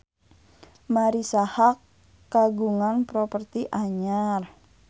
Marisa Haque kagungan properti anyar